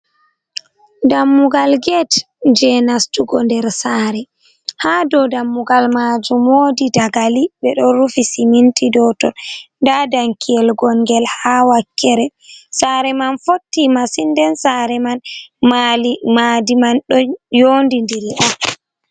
Dammugal get je nastugo nder saare, ha dau dammugal majum wodi dagali ɓe ɗo rufi siminti dau ton. Nda danki yel gon'ngel haa wakkere. Saare man fotti masin, den saare man mali madi man do you'ndi'diri.